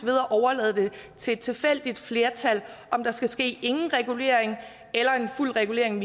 at overlade det til et tilfældigt flertal om der skal ske ingen regulering eller en fuld regulering